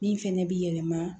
Min fɛnɛ bi yɛlɛma